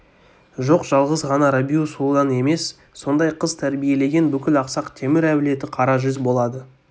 жоқ жалғыз ғана рабиу сұлудан емес сондай қыз тәрбиелеген бүкіл ақсақ темір әулеті қара жүз болады